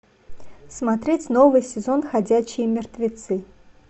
смотреть новый сезон ходячие мертвецы